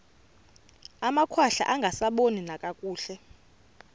amakhwahla angasaboni nakakuhle